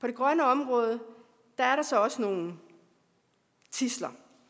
det grønne område er der så også nogle tidsler